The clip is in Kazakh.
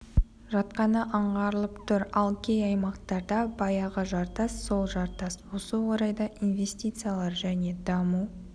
жатқаны аңғарылып тұр ал кей аймақтарда баяғы жартас сол жартас осы орайда инвестициялар және даму